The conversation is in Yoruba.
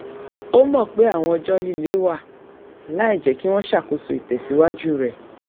ó mọ̀ pé àwọn ọjọ́ líle wà láìjẹ́ kí wọ́n ṣàkóso ìtẹ̀síwájú rẹ